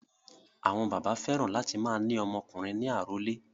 Àwọn bàbá fẹ́ràn láti máa ní ọmọ ọkùnrin ní àrólé.